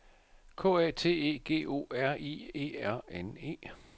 K A T E G O R I E R N E